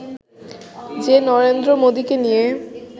যে নরেন্দ্র মোদিকে নিয়ে